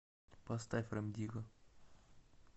поставь рем дигга